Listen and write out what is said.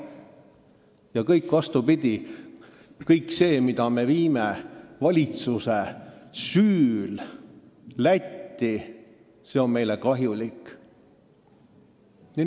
Ja vastupidi: kui me nii palju valitsuse süül Lätile kingime, siis on see meile kahjulik.